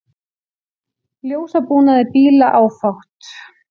Ljósabúnaði bíla áfátt